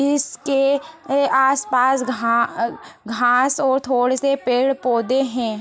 इसके अ आसपास घा अ घास और थोड़ेसे पेड़ पौधे है।